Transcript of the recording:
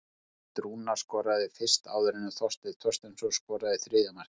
Hafsteinn Rúnar skoraði fyrst áður en Þorsteinn Þorsteinsson skoraði þriðja markið.